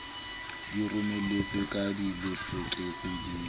di romeletswe ka thelefekse di